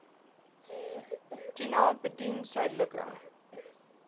tuna buiten suidelike